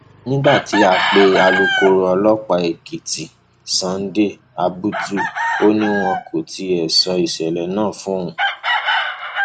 nígbà tá a pe alūkkoro ọlọpàá èkìtì sunday abutu ó ní wọn kò tí ì sọ ìṣẹlẹ náà fóun